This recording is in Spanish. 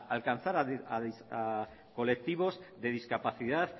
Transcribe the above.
alcanzar a colectivos de discapacidad